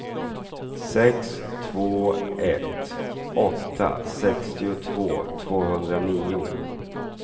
sex två ett åtta sextiotvå tvåhundranio